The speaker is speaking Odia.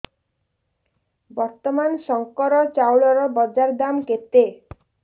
ବର୍ତ୍ତମାନ ଶଙ୍କର ଚାଉଳର ବଜାର ଦାମ୍ କେତେ